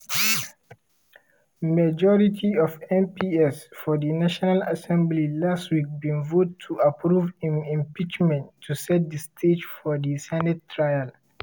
majority of mps for di national assembly last week bin vote to approve im impeachment to set di stage for di senate trial.